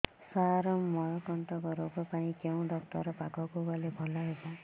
ସାର ମଳକଣ୍ଟକ ରୋଗ ପାଇଁ କେଉଁ ଡକ୍ଟର ପାଖକୁ ଗଲେ ଭଲ ହେବ